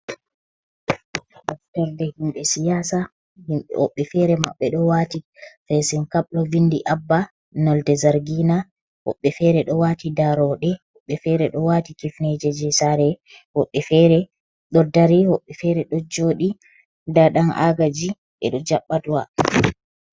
Moftorde himbe siyasa, woɓɓe fere maɓɓe ɗo wati fesin kab, ɗo vindi abba nolde zargina, woɓɓe fere do wati daroɗe, woɓɓe ɓe fere ɗo wati kifneje sare, woɓɓe fere do dari, woɓɓe fere ɗo joɗi, nɗa ɗan agaji ɓe ɗo jaɓɓa do'a.